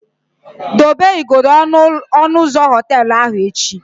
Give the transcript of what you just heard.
Dobe igodo ọnụ ụzọ họteelụ ahụ echi!